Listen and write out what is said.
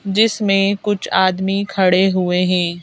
जिसमें कुछ आदमी खड़े हुवे हैं।